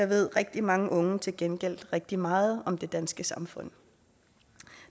ved rigtig mange unge til gengæld rigtig meget om det danske samfund